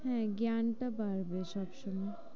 হ্যাঁ জ্ঞান টা বাড়বে সবসময়।